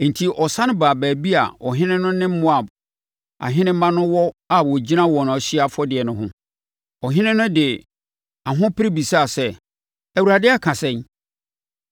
Enti, ɔsane baa baabi a ɔhene no ne Moab ahenemma no wɔ a wɔgyina wɔn ɔhyeɛ afɔdeɛ no ho. Ɔhene no de ahopere bisaa sɛ, “ Awurade aka sɛn?”